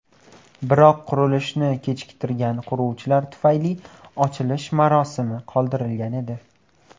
Biroq qurilishni kechiktirgan quruvchilar tufayli ochilish marosimi qoldirilgan edi.